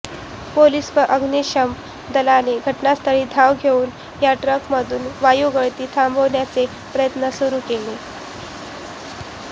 police व अग्निशमन दलाने घटनास्थळी धाव घेऊन या टँकरमधून वायुगळती थांबवण्याचे प्रयत्न सुरू केले